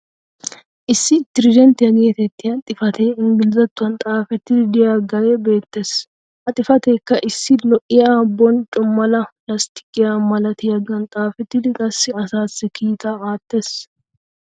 issi "Trident" geetettiya xifatee ingglizzatuwan xaafettidi diyaagee beetees. ha xifateekka issi lo'iya boncco mala lasttiqqiya malatiyaagan xaafettidi qassi asaassi kiittaa aattees.